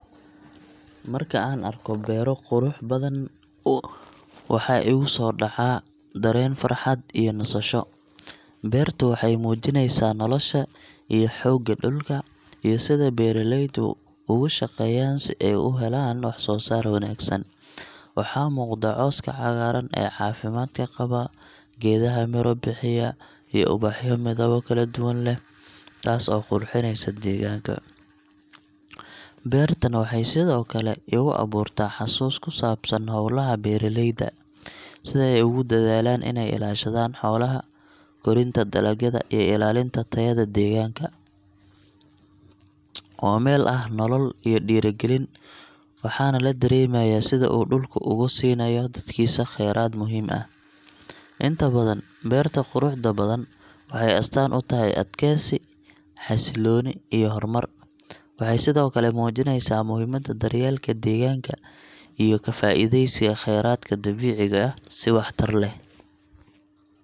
Marka aan arko beero qurux badan, waxaa igu soo dhaca dareen farxad iyo nasasho. Beertu waxay muujinaysaa nolosha iyo xoogga dhulka, iyo sida beeraleydu ugu shaqeeyaan si ay u helaan wax-soo-saar wanaagsan. Waxaa muuqda cawska cagaaran ee caafimaadka qaba, geedaha miro bixiya, iyo ubaxyo midabo kala duwan leh, taas oo qurxinaysa deegaanka. Beertan waxay sidoo kale igu abuurtaa xusuus ku saabsan hawlaha beeraleyda: sida ay ugu dadaalaan inay ilaashadaan xoolaha, korinta dalagyada, iyo ilaalinta tayada deegaanka. Waa meel leh nolol iyo dhiirigelin, waxaana la dareemayaa sida uu dhulku ugu siinayo dadkiisa kheyraad muhiim ah. Inta badan, beerta quruxda badan waxay astaan u tahay adkeysi, xasillooni, iyo horumar. Waxay sidoo kale muujineysaa muhiimada daryeelka deegaanka iyo ka faa’iideysiga kheyraadka dabiiciga ah si waxtar leh.